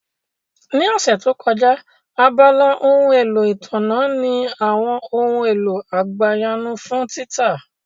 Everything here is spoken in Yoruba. Ní ọ̀sẹ̀ tó kọjá, abala ohun èlò ìtànná ní àwọn ohun èlò àgbàyanu fún títà